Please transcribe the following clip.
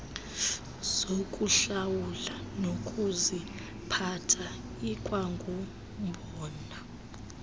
zokuhlawula nokuziphatha ikwangumbono